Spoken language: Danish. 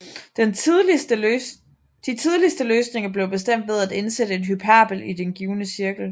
De tidligste løsninger blev bestemt ved at indsætte en hyperbel i den givne cirkel